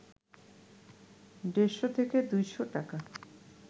দেড়শ থেকে ২শ’ টাকা